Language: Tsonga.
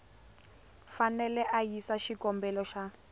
fanele a yisa xikombelo xa